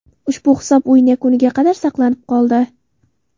Ushbu hisob o‘yin yakuniga qadar saqlanib qoldi.